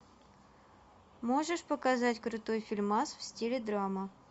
можешь показать крутой фильмас в стиле драма